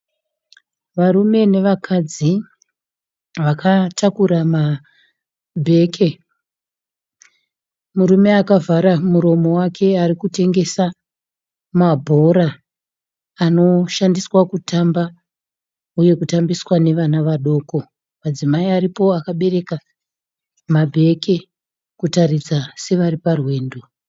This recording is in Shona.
Varume nevakadzi vakatakura mabheke. Murume akavhara muromo wake ari kutengesa mabhora anoshandisa kutamba uye kutambiswa nevana vadoko. Madzimai aripo akabereka mabheke kutaridza sevari parwendo.